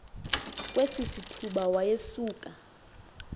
kwesi sithuba wayesuka